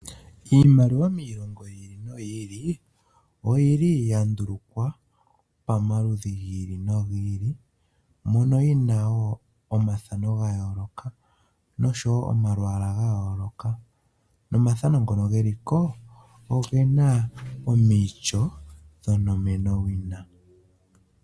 Iimaliwa miilongo yiili noyiili oyili ya ndulukwa pamaludhi gayoolokathana. Ohayi kala wo yina omathano nomalwaala ga yooloka. Omathano ngoka geli ko ogena omityo dhonomenawina.